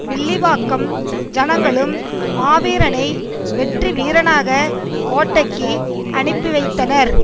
வில்லிவாக்கம் ஜனங்களும் மாவீரனை வெற்றி வீரனாக கோட்டைக்கு அனுப்பி வைத்தனர்